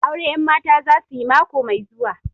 Aure 'yanmata za su yi mako mai zuwa